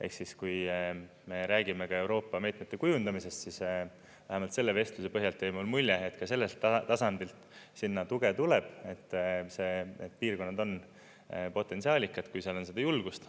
Ehk siis, kui me räägime ka Euroopa meetmete kujundamisest, siis vähemalt selle vestluse põhjal jäi mulle mulje, et ka sellelt tasandilt sinna tuge tuleb, et see piirkond on potentsiaalikas, kui seal on seda julgust.